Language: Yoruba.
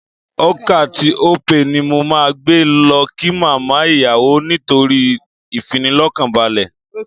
Ocar tí Opay ni mo máa gbé lọ kí màmá ìyàwó nítorí ìfinilọ́kànbalẹ̀